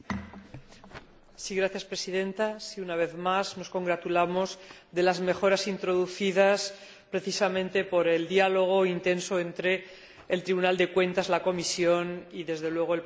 Señora Presidenta, una vez más nos congratulamos de las mejoras introducidas precisamente por el intenso diálogo entre el Tribunal de Cuentas, la Comisión y, desde luego, el Parlamento Europeo.